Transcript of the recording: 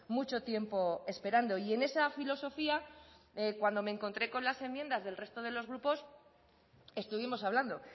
mucho tiempo esperando y en esa filosofía cuando me encontré con las enmiendas del resto de los grupos estuvimos hablando